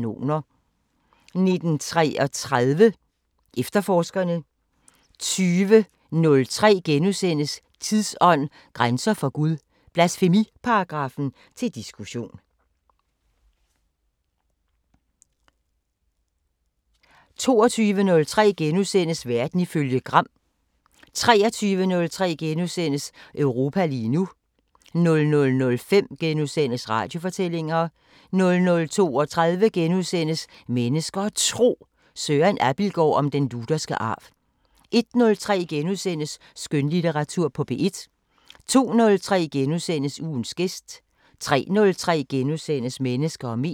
19:33: Efterforskerne 20:03: Slotsholmen * 21:03: Tidsånd: Grænser for Gud – blasfemiparagraffen til diskussion * 22:03: Verden ifølge Gram * 23:03: Europa lige nu * 00:05: Radiofortællinger * 00:32: Mennesker og Tro: Søren Abildgaard om den lutherske arv * 01:03: Skønlitteratur på P1 * 02:03: Ugens gæst * 03:03: Mennesker og medier *